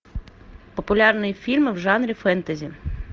популярные фильмы в жанре фэнтези